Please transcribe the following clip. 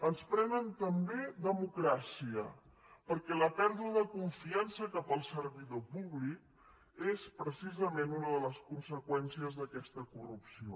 ens prenen també democràcia perquè la pèrdua de confiança cap al servidor públic és precisament una de les conseqüències d’aquesta corrupció